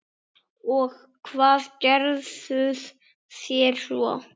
Og hvað gerðuð þér svo?